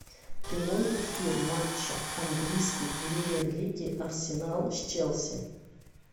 прямой эфир матча английской премьер лиги арсенал с челси